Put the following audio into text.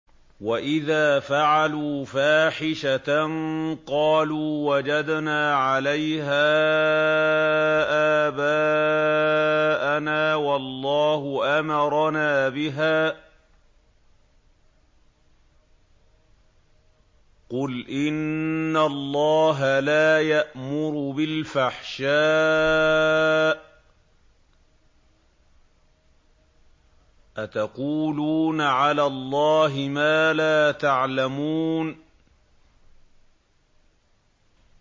وَإِذَا فَعَلُوا فَاحِشَةً قَالُوا وَجَدْنَا عَلَيْهَا آبَاءَنَا وَاللَّهُ أَمَرَنَا بِهَا ۗ قُلْ إِنَّ اللَّهَ لَا يَأْمُرُ بِالْفَحْشَاءِ ۖ أَتَقُولُونَ عَلَى اللَّهِ مَا لَا تَعْلَمُونَ